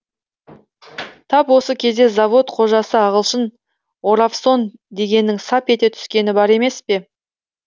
тап осы кезде завод қожасы ағылшын оравсон дегеннің сап ете түскені бар емес пе